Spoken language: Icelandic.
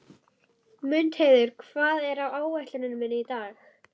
Mundheiður, hvað er á áætluninni minni í dag?